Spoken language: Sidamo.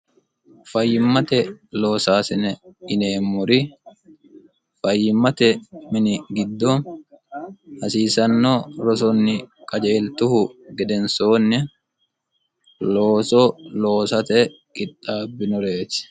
fayyimmate loosaasine yineemmori fayyimmate mini giddo hasiisanno rosonni qajeeltuhu gedensoonni looso loosate qixxaabbinoreeti